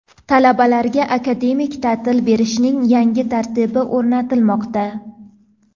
Talabalarga akademik ta’til berishning yangi tartibi o‘rnatilmoqda.